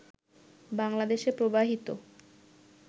বাংলাদেশে প্রবাহিত